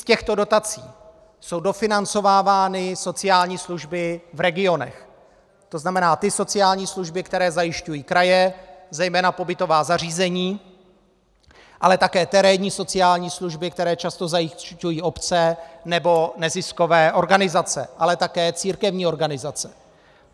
Z těchto dotací jsou dofinancovávány sociální služby v regionech, to znamená ty sociální služby, které zajišťují kraje, zejména pobytová zařízení, ale také terénní sociální služby, které často zajišťují obce nebo neziskové organizace, ale také církevní organizace.